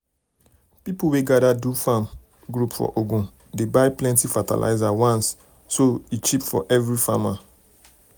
people wey gather do do farm group for ogun dey buy plenty fertilizer once so um e cheap for every um farmer.